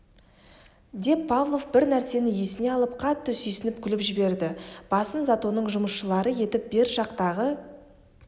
деп павлов бір нәрсені есіне алып қатты сүйсініп күліп жіберді басын затонның жұмысшылары етіп бер жақтағы